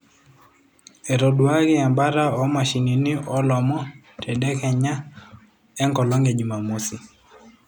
Etoduaaki embata o mashinini olomon tedekenya enkolong e Jumamosi.